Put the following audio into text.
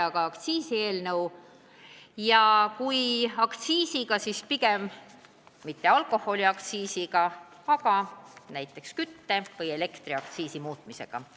Aga meile esitati aktsiiside alandamise eelnõu – ja just alkoholiaktsiiside, mitte näiteks kütuse- või elektriaktsiiside alandamise eelnõu.